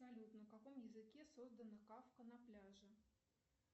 салют на каком языке создана кавка на пляже